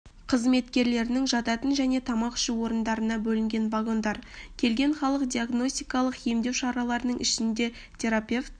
қызметкерлерінің жатын және тамақ ішу орындарына бөлінген вагондар келген халық диагностикалық емдеу шараларының ішінде терапевт